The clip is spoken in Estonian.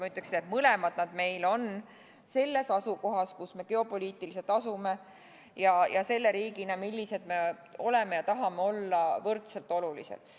Ma ütleksin, et nad mõlemad on meile selles kohas, kus me geopoliitiliselt asume, ja selle riigina, millised me oleme ja tahame olla, võrdselt olulised.